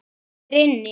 Hann er inni.